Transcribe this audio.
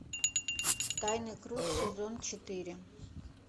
тайный круг сезон четыре